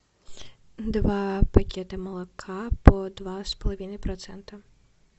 два пакета молока по два с половиной процента